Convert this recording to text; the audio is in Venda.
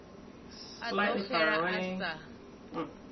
a ḓo xela a sa